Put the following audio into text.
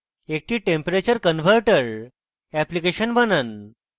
একটি temperature convertor application বানান